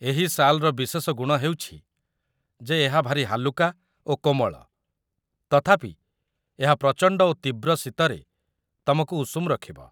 ଏହି ଶାଲ୍‌ର ବିଶେଷ ଗୁଣ ହେଉଛି ଯେ ଏହା ଭାରି ହାଲୁକା ଓ କୋମଳ, ତଥାପି ଏହା ପ୍ରଚଣ୍ଡ ଓ ତୀବ୍ର ଶୀତରେ ତମକୁ ଉଷୁମ ରଖିବ